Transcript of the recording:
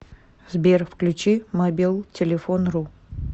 сбер включи мобилтелефон ру